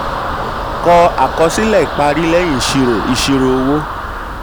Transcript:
kọ àkọsílẹ̀ ìparí lẹ́yìn ìṣirò ìṣirò owó.